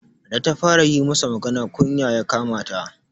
Da ta fara yi masa magana, kunya ya kama ta.